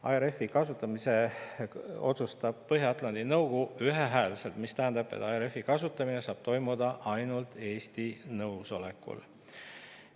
ARF-i kasutamise saab Põhja-Atlandi Nõukogu otsustada ühehäälselt, mis tähendab, et ARF-i kasutamine saab toimuda ainult Eesti nõusolekul.